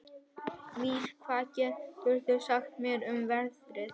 Mír, hvað geturðu sagt mér um veðrið?